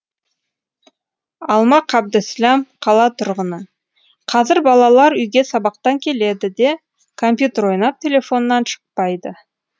алма қабдісләм қала тұрғыны қазір балалар үйге сабақтан келеді де компьютер ойнап телефоннан шықпайды